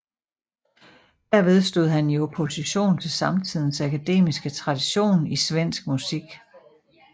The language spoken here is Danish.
Derved stod han i opposition til samtidens akademiske tradition i svensk musik